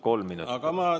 Kolm.